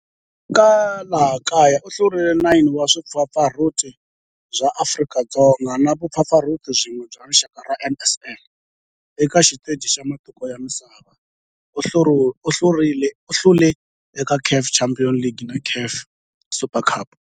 Eka laha kaya u hlule 9 wa vumpfampfarhuti bya Afrika-Dzonga na vumpfampfarhuti byin'we bya rixaka bya NSL. Eka xiteji xa matiko ya misava, u hlule eka CAF Champions League na CAF Super Cup.